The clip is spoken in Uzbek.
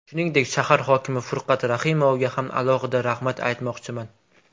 Shuningdek, shahar hokimi Furqat Rahimovga ham alohida rahmat aytmoqchiman.